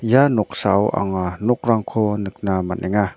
ia noksao anga nokrangko nikna man·enga.